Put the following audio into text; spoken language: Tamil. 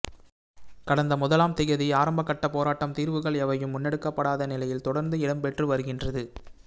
கடந்த முதலாம் திகதி ஆரம்பிக்கப்பட்ட போராட்டம் தீர்வுகள் எவையும் முன்னெடுக்கப்படாத நிலையில் தொடர்ந்து இடம்பெற்று வருகின்றது